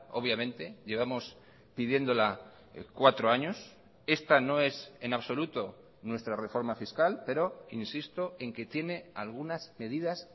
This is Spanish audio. obviamente llevamos pidiéndola cuatro años esta no es en absoluto nuestra reforma fiscal pero insisto en que tiene algunas medidas